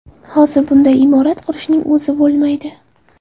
Hozir bunday imorat qurishning o‘zi bo‘lmaydi.